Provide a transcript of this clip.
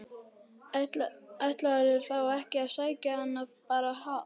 Ætlarðu þá ekki að sækja hana bara á